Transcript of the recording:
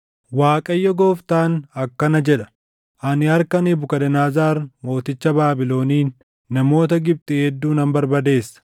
“‘ Waaqayyo Gooftaan akkana jedha: “ ‘Ani harka Nebukadnezar mooticha Baabiloniin namoota Gibxi hedduu nan barbadeessa.